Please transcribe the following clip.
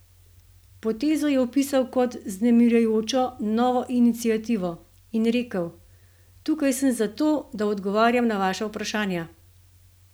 Potezo je opisal kot 'vznemirjajočo novo iniciativo' in rekel: 'Tukaj sem zato, da odgovarjam na vaša vprašanja.